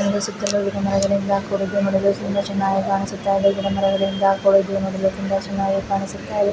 ಒಂದು ಸುತ್ತಮುತ್ತಲು ಗಿಡಮರಗಳಿಂದ ಕೂಡಿದ್ದು ನೋಡಲು ತುಂಬಾ ಚೆನ್ನಾಗಿ ಕಾಣಿಸುತ್ತಾಯಿದೆ. ಗಿಡಮರಗಳಿಂದ ಕೂಡಿದ್ದು ನೋಡಲು ತುಂಬಾ ಚೆನ್ನಾಗಿ ಕಾಣಿಸುತ್ತಾಯಿದೆ.